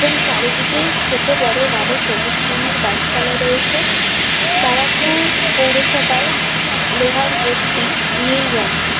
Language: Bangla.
এবং চারিদিকে ছোট বড় কারো সবুজ রঙের গাছপালা রয়েছে বারাকপুর পৌরসভার লোহার গেট -টি নীল রঙের।